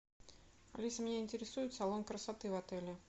алиса меня интересует салон красоты в отеле